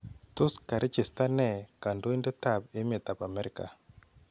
Tos karechestan nee kandoindetab emeetab Amerika?